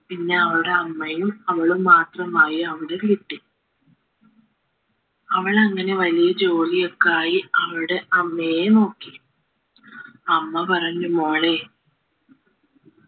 പിന്നെ അവളുടെ അമ്മയും അവളും മാത്രമായി അവരുടെ വീട്ടിൽ അവളങ്ങനെ വലിയ ജോലിയൊക്കെ ആയി അവളുടെ അമ്മയെയും നോക്കി 'അമ്മ പറഞ്ഞു മോളെ